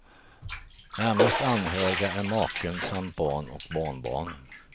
Närmast anhöriga är maken samt barn och barnbarn.